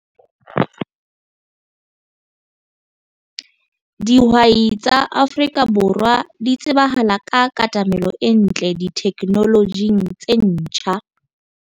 Dihwai tsa Afrika Borwa di tsebahala ka katamelo e ntle ditheknolojing tse ntjha.